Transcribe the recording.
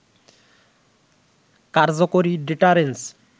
কার্যকরী ডেটারেন্স